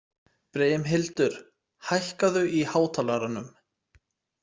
Brimhildur, hækkaðu í hátalaranum.